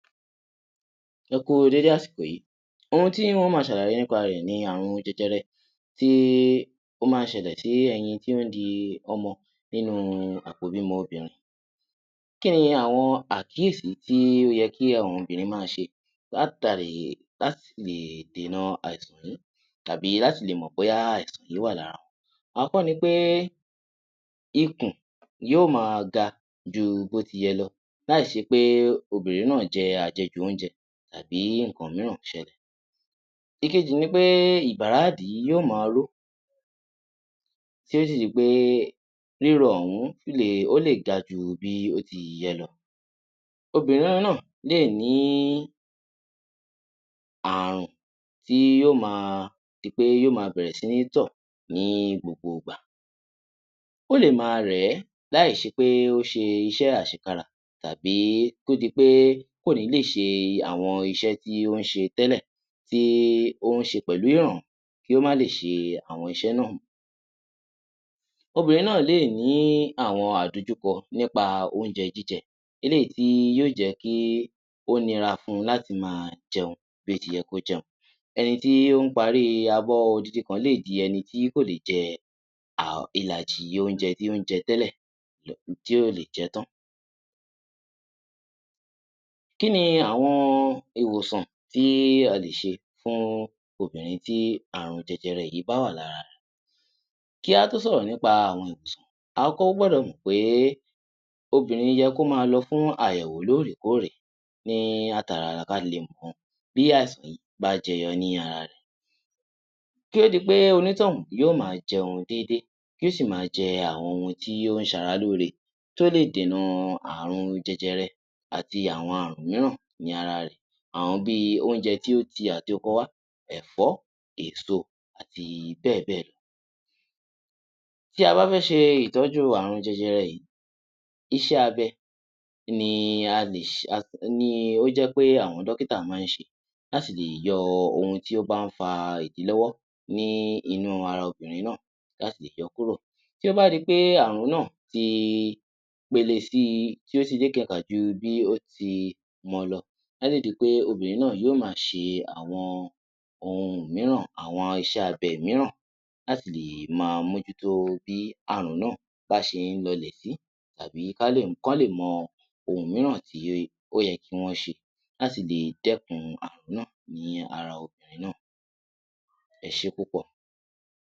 Ẹ kú u déédé àsìkò yí, ohun tí n ó ma ṣàlàyé nípa rẹ̀ ni àrùn jẹjẹrẹ tí ó má ń ṣẹlẹ̀ tí ẹyin tí ó ń di ọmọ nínú àpò ìbímọ obìnrin. Kí ní àwọn àkíyèsí tí ó yẹ kí àwọn obìnrin má a ṣe láti lè dènà àìsàn òhún tàbí láti lè mọ̀ bóyá àìsàn yí wà lárawọn. Àkọ́kọ́ ni wí pé, ikùn yóò ma ga ju bí ó ti yẹ lo láì ṣe pé obìnrin náà jẹ àjẹjù oúnjẹ tàbí nǹkan míràn ṣẹlẹ̀. Ìkejì ni pé ìbàrá ìdí yóò ma ró tí ó sì ṣe pé ríro òhún o lè ga ju bí ó ti yẹ lọ. Obìnrin náà lè ní àrùn tí yóò ma di pé yóò ma bẹ̀rẹ̀ sí ní tọ̀ ní gbogbo ìgbà, o lè ma rẹ̀ ẹ́ láì ṣe pé ó ṣe iṣẹ́ àṣekára tàbí kó di pé kò ní lè ṣe àwọn iṣẹ́ tí ó ń ṣe tẹ́lẹ̀ tí ó ń ṣe pẹ̀lú ìrọ̀rùn kí ó má lè ṣe àwọn iṣẹ́ náà. Obìnrin náà lè ní àwọn àdojúkọ nípa oúnjẹ jíjẹ eléyìí tí yóò jẹ́ kí ó nira fun láti ma jẹun bí ó ti yẹ kí ó jẹun. Ẹni tí ó ń parí abọ́ odindin kan lè di ẹni tí kò lè jẹ ìlàjì oúnjẹ tí ó ń jẹ tẹ́lẹ̀, tí ò lè jẹ ẹ́ tán. Kí ni àwọn ìwòsàn tí a lè ṣe fún obìnrin tí àrùn jẹjẹrẹ yìí bá wà lára rẹ̀. Kí a tó sọ̀rọ̀ nípa àwọn ìwòsàn, a kọ́kọ́ gbọ́dọ̀ mọ̀ pé obìnrin yẹ kí ó ma lọ fún àyẹ̀wò lóòrèkóòrè ní àtara kí a lè mọ̀ bí àìsàn yí bá jẹyọ ní ara rẹ̀. Kí ó di pé onítọ̀hún yóò ma jẹun déédé yóò sì ma jẹ àwọn ohun tí ó ń ṣe ara lóore tí ó lè dènà àrùn jẹjẹrẹ àti àwọn àrùn míràn ní ara rẹ̀. Àwọn bíi oúnjẹ tí ó ti àti oko wá ẹ̀fọ́, èso àti bẹ́ẹ̀ bẹ́ẹ̀ lọ. Tí a bá fẹ́ ṣe ìtọ́jú àrùn jẹjẹrẹ yìí, iṣẹ́ abẹ ni ó jẹ́ pé àwọn dọ́kítà má ń ṣe láti lè yọ ohun tí ó bá ń fa ìdílọ́wọ́ ní inú ara obìnrin náà láti lè yọ ọ́ kúrò. Tí ó bá di pé àrùn náà ti pele sí i, tí ó ti lékenkà ju bí ó ti mọ lọ, a sì di pé obìnrin náà yóò ma ṣe àwọn iṣẹ́ abẹ míràn láti lè ma mójútó bí àrùn náà bá ṣe ń lọlẹ̀ sí tàbí kí wọ́n lè mọ ohun míràn tí ó yẹ kí wọ́n ṣe láti lè dẹ́kun àrùn náà ní ara obìnrin náà, ẹ ṣé púpọ̀.